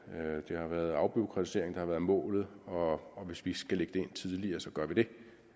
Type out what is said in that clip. det har været afbureaukratiseringen der har været målet og hvis vi skal lægge det ind tidligere så gør vi det